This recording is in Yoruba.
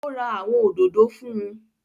Ó ra àwọn òdòdó fún